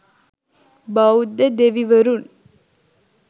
බෞද්ධ දෙවිවරුන්